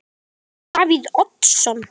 Breki: Davíð Oddsson?